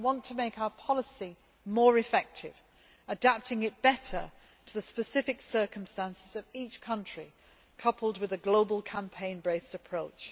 I want to make our policy more effective, adapting it better to the specific circumstances of each country, coupled with a global campaign based approach.